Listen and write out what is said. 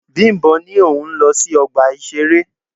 Bimbo ní pé òun ń lọ sí ọgbà ìṣeré.